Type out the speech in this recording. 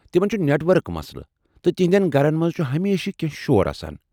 تمن چھ network مسلہٕ، تہٕ تہنٛدٮ۪ن گھرن منٛز چھٗ ہمیشہٕ کینٛہہ شور آسان۔